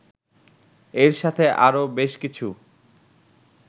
এর সাথে আরো বেশ কিছু